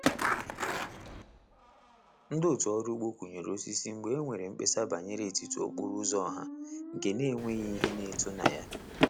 Ndi otu ọrụ ugbo kunyere osisi mgbe e nwere mkpesa banyere etiti okporo ụzọ ọha nke n'enweghị ihe na-eto na ya.